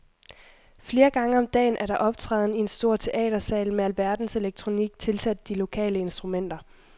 Flere gange om dagen er der optræden i en stor teatersal med alverdens elektronik tilsat de lokale instrumenter.